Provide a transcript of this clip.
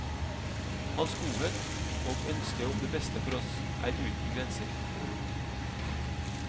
Hans godhet og ønske om det beste for oss er uten grenser.